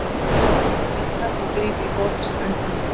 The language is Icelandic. Riða og gríp í borðsendann.